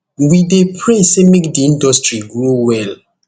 we dey pray say make di industry grow well